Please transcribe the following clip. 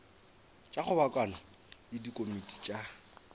tša kgobokano le dikomiti tša